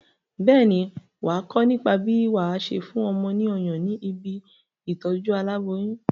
Bẹ́ẹ̀ ni, wà á kọ́ nípa bí wà á ṣe fún ọmọ ní ọyàn ní ibi ìtọ́jú aláboyún.